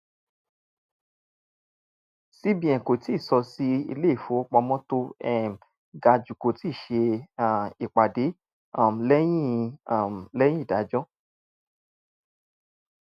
cbn kò tíì sọ si ilé-ifówopámọ́ tó um ga jù kò ti ṣe um ìpàdé um lẹyìn um lẹyìn ìdájọ́.